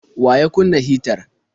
Wa ya kunna hitar?